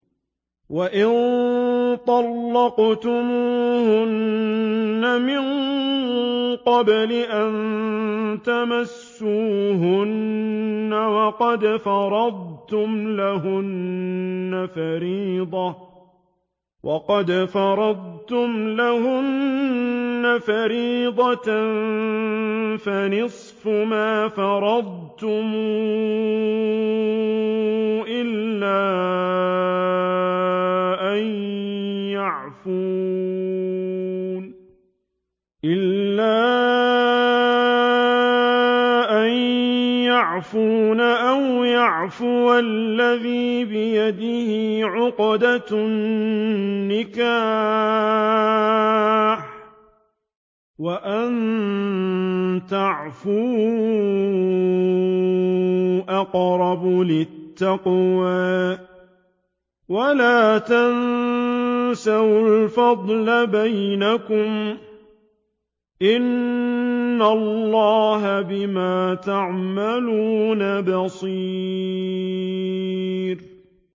وَإِن طَلَّقْتُمُوهُنَّ مِن قَبْلِ أَن تَمَسُّوهُنَّ وَقَدْ فَرَضْتُمْ لَهُنَّ فَرِيضَةً فَنِصْفُ مَا فَرَضْتُمْ إِلَّا أَن يَعْفُونَ أَوْ يَعْفُوَ الَّذِي بِيَدِهِ عُقْدَةُ النِّكَاحِ ۚ وَأَن تَعْفُوا أَقْرَبُ لِلتَّقْوَىٰ ۚ وَلَا تَنسَوُا الْفَضْلَ بَيْنَكُمْ ۚ إِنَّ اللَّهَ بِمَا تَعْمَلُونَ بَصِيرٌ